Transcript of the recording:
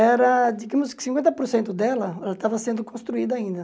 Era, digamos que cinquenta por cento dela, ela estava sendo construída ainda.